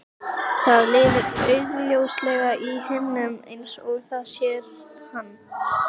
Það lifir augljóslega í heiminum eins og það sér hann.